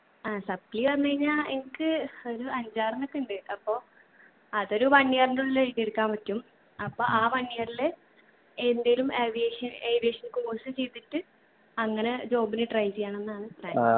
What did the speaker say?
ആ supply പറഞ്ഞ് കഴിഞ്ഞാ എനിക്ക് ഒരു അഞ്ചാറണ്ണക്കെ ഇണ്ട് അപ്പോ അതൊരു one year ന്റെ ഉള്ളില് എഴുതി എടുക്കാൻ പറ്റും അപ്പൊ ആ one year ല് എന്തേലും aviation aviation course ചെയ്തിട്ട് അങ്ങനെ job ന് try ചെയ്യണംന്നാണ് plan